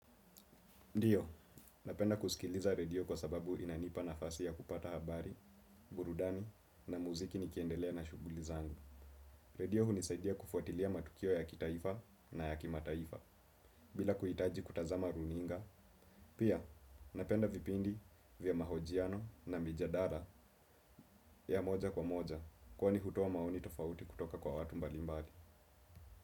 Ndiyo, napenda kusikiliza radio kwa sababu inanipa nafasi ya kupata habari, burudani, na muziki nikiendelea na shuguli zangu. Radio hunisaidia kufuatilia matukio ya kitaifa na ya kimataifa, bila kuitaji kutazama runinga. Pia, napenda vipindi vya mahojiano na mijadala ya moja kwa moja, kwa ni hutoa maoni tofauti kutoka kwa watu mbalimbali.